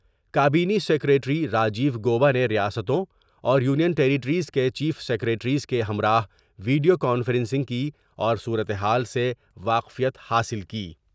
کابینی secretary Rajiv Gauba نے ریاستوں اور یونین ٹیریٹریز کے چیف سیکریٹریز کے ہمراہ ویڈیو کانفرنسنگ کی اور صورتحال سے واقفیت حاصل کی ۔